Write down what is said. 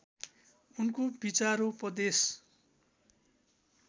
उनको विचारोपदेश